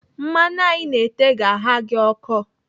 Mmanụ a Ị na-ete ga-agha gị ọkọ.